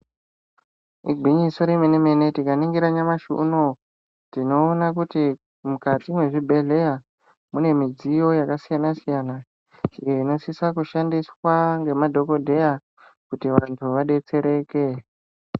Igwinyiso remene-mene tikaningira nyamashi unowu, tinoona kuti mukati mwezvibhedhleya mune midziyo yakasiyana-siyana, iyo inosisa kushandiswa ngemadhokodheya, kuti vantu vadetsereke.